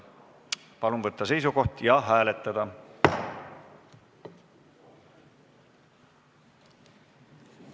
Palun võtta seisukoht ja hääletada!